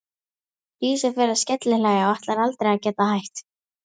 Dísa fer að skellihlæja og ætlar aldrei að geta hætt.